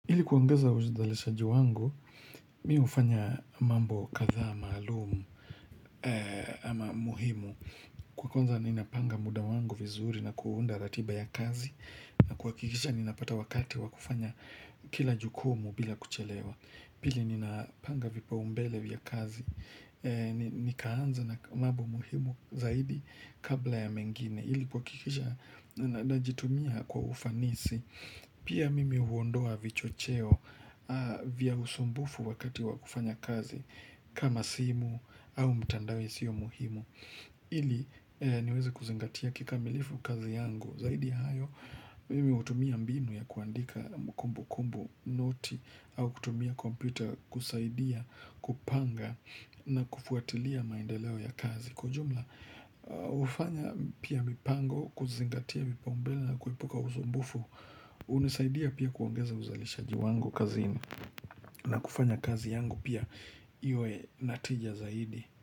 Ili kuongeza uzalisha wangu, mihufanya mambo katha maalumu ama muhimu. Kwa kwanza ninapanga muda wangu vizuri na kuunda ratiba ya kazi, na kuhakikisha ninapata wakati wakufanya kila jukumu bila kuchelewa. Pili ninapanga vipao mbele vya kazi, nikaanza na mambo muhimu zaidi kabla ya mengine. Ili kuhakikisha na jitumia kwa ufanisi pia mimi huondoa vicho cheo vya usumbufu wakati wakufanya kazi kama simu au mtandao isio muhimu ili niweze kuzingatia kikamilifu kazi yangu zaidi hayo mimi hutumia mbinu ya kuandika mkumbu kumbu noti au kutumia kompita kusaidia kupanga na kufuatilia maendeleo ya kazi Kwajumla hufanya pia mipango kuzingatia vyipaombele na kuepuka usumbufu unisaidia pia kuangeza uzalishaji wangu kazini na kufanya kazi yangu pia iwe natija zaidi.